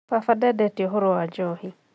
Baba ndendete ũhoro wa njohi